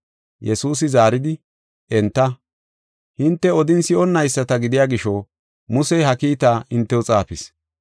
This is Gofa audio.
Yesuusi zaaridi, enta “Hinte odin si7onnayisata gidiya gisho, Musey ha kiitaa hintew xaafis.